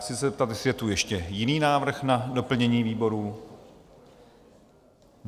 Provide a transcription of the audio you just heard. Chci se zeptat, jestli je tu ještě jiný návrh na doplnění výborů?